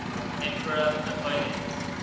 emperor napoleon